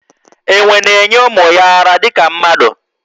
Enwe na enye ụmụ ya ara dika mmadụ